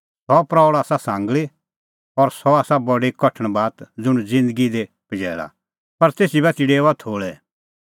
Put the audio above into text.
सह प्रऊल़ आसा सांगल़ी और सह आसा बडी कठण बात ज़ुंण ज़िन्दगी दी पजैल़ा पर तेसी बाती डेओआ थोल़ै